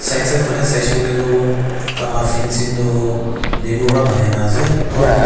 right side pahne saise koile tu tanga fancing tu bamboo para banai na ase aru dufa--